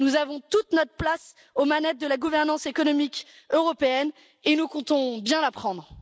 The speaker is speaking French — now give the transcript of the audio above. Nous avons toute notre place aux manettes de la gouvernance économique européenne et nous comptons bien la prendre.